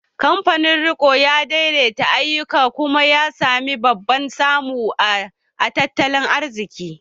Kamfanin riko ya daidaita ayyukan kuma ya sami babban samu a tattalin arziki